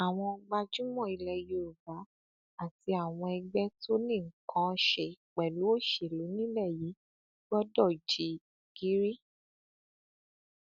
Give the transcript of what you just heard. àwọn gbajúmọ ilẹ yorùbá àti àwọn ẹgbẹ tó ní nǹkan án ṣe pẹlú òṣèlú nílẹ yìí gbọdọ jí gìrì